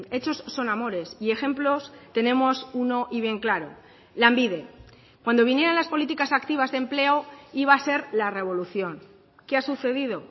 hechos son amores y ejemplos tenemos uno y bien claro lanbide cuando vinieran las políticas activas de empleo iba a ser la revolución qué ha sucedido